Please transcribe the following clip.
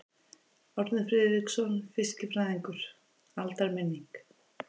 Árni Friðriksson fiskifræðingur: Aldarminning.